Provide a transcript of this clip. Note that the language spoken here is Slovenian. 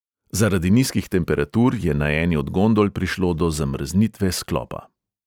Zaradi nizkih temperatur je na eni od gondol prišlo do zamrznitve sklopa.